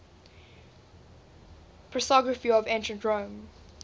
prosopography of ancient rome